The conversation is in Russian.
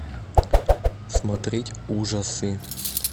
смотреть ужасы